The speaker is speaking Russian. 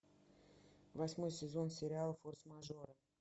восьмой сезон сериала форс мажоры